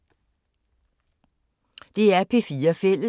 DR P4 Fælles